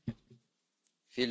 Frau Präsidentin!